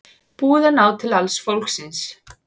Búið að ná til alls fólksins